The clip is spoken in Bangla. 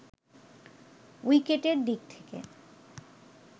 উইকেটের দিক থেকে